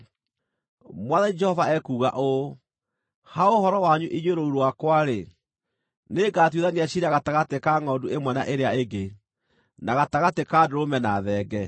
“ ‘Mwathani Jehova ekuuga ũũ: “Ha ũhoro wanyu inyuĩ rũũru rwakwa-rĩ, nĩngatuithania ciira gatagatĩ ka ngʼondu ĩmwe na ĩrĩa ĩngĩ, na gatagatĩ ka ndũrũme na thenge.